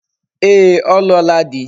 Ee, o luola di